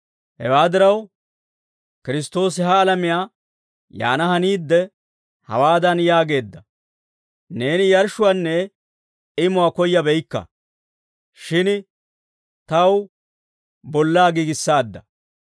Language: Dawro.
Hewaa diraw, Kiristtoosi ha alamiyaa yaana haniidde, hawaadan yaageedda; «Neeni yarshshuwaanne imuwaa koyyabeykka; shin taw bollaa giigissaadda.